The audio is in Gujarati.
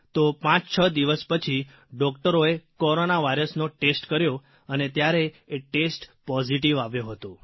તો પાંચછ દિવસ પછી ડૉકટરોએ કોરોના વાયરસનો ટેસ્ટ કર્યો અને ત્યારે એ ટેસ્ટ પોઝીટીવ આવ્યો હતો